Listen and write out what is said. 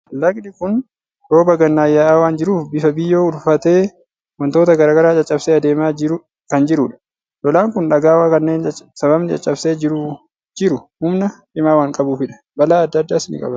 Lagdi kun rooba gannaan yaa'aa waan jiruuf, bifa biyyoo uffatee, waantota garaa garaa caccabsee adeemaa kan jirudha. Lolaan kun dhagaa kanneen sababni caccabsee jiru humna cimaa waan qabuufidha. Balaa adda addaas ni qabaata.